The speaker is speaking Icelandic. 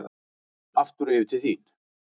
Aftur yfir til þín.